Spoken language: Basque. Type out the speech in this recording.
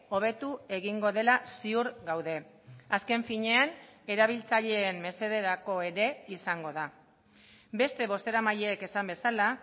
hobetu egingo dela ziur gaude azken finean erabiltzaileen mesederako ere izango da beste bozeramaileek esan bezala